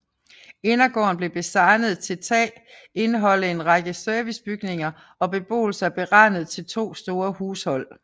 Indergården blev designet til ta indeholde en række servicebygninger og beboelse beregnet til to store hushold